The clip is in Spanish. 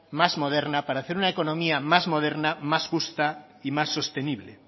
más moderna para hacer una economía más moderna más justa y más sostenible